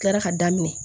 Kila ka daminɛ